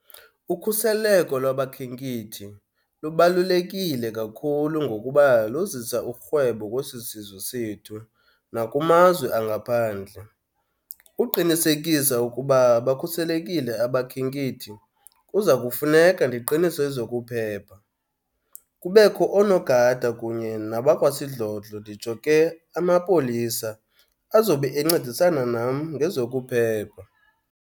Ukhuseleko lwabakhenkethi lubalulekile kakhulu ngokuba luzisa urhwebo kwesi sizwe sethu nakumazwe angaphandle. Uqinisekisa ukuba bakhuselekile abakhenkethi kuza kufuneka ndiqinise ezokuphepha. Kubekho oonogada kunye nabakwasidlodlo, nditsho ke amapolisa, azobe encedisana nam ngezokuphepha.